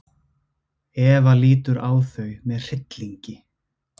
Eva lítur á þau með hryllingi.